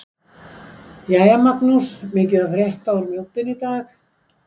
Jæja Magnús- mikið að frétta úr Mjóddinni í dag?